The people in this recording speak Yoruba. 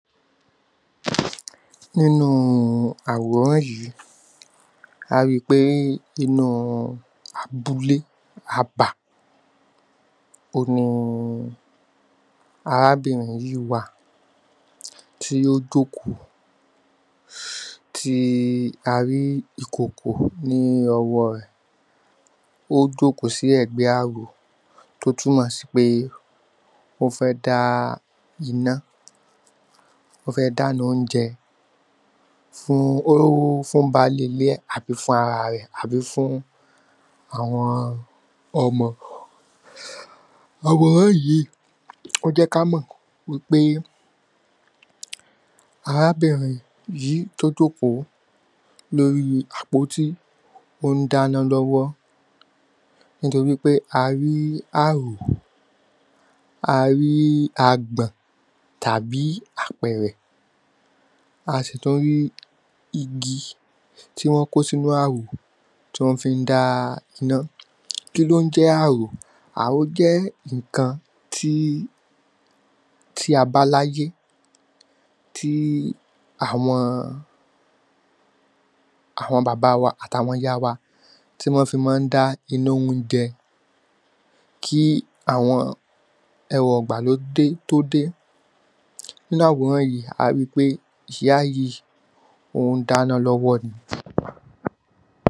nínúu àwòrán yìí a ri pé inúu abúlé, abá, òun ni arábìnrin yìí wà tí ó jókòó tí a rí ìkòkò ní ọwọ́ rẹ̀, ó jókòó sí ẹ̀gbẹ́ ààrò tó túnmọ̀ sí pé ó fẹ́ dá iná, ó fẹ́ dána óúnjẹ fún baálé ilé ẹ̀, àbí fún ará rẹ̀, àbí fún àwọn ọmọ. àwòrán yìí, ó jẹ́ kí á mọ̀ wípé arábìnrin yìí, tó jókòó lóri àpótí, ón dáná lọ́wọ́, nítorí pé a rí ààrò, a rí agbọ̀n tàbí apẹ̀rẹ̀ a sì tún rí igi tí wọ́n kó sínú ààrò tí wọ́n fin-ín dá iná, kí ló n jẹ́ ààrò, ààrò jẹ́ ńkan tí, tí a bá láyé tí àwọn, àwọn bàbá wa àti àwọn ìyá wa, tí wọ́n fi má n dá iná óúnjẹ kí àwọn ẹ̀rọ ìgbàlódé tó dé, ní àwòrán yìí a ríi wípé, ìyá yìí ón dá iná lọ́wọ́ ni.